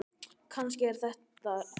Kannski er það rétt.